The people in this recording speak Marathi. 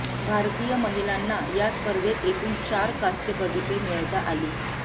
भारतीय महिलांना या स्पर्धेत एकूण चार कांस्यपदके मिळविता आली